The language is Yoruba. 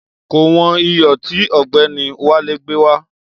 Kò wọn iyò tí ògbéni Wálé gbé wá